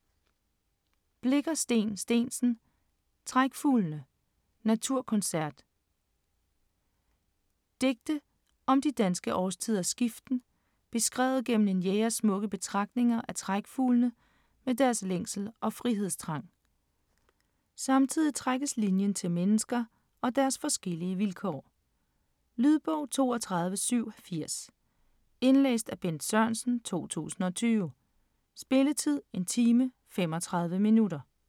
Blicher, Steen Steensen: Trækfuglene: naturconcert Digte om de danske årstiders skiften beskrevet gennem en jægers smukke betragtninger af trækfuglene med deres længsel og frihedstrang. Samtidig trækkes linjen til mennesker og deres forskellige vilkår. Lydbog 32780 Indlæst af Bent Sørensen, 2002. Spilletid: 1 time, 35 minutter.